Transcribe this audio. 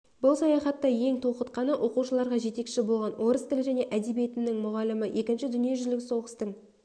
бұл саяхатта ең толқытқаны оқуышарға жетекші болған орыс тілі және әдебиетінің мұғалімі екінші дүние жүздік соғыстың